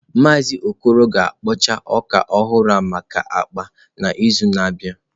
Maazị Okoro ga-akpọcha ọka ọhụrụ maka akpa n'izu na-abịa.